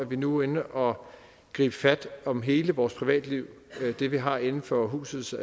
vi nu er inde og gribe fat om hele vores privatliv det vi har inden for husets